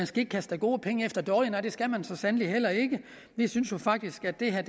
skal kaste gode penge efter dårlige nej det skal man så sandelig heller ikke vi synes jo faktisk at det her